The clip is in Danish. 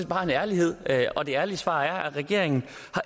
bare en ærlighed og det ærlige svar er at regeringen